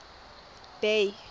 bay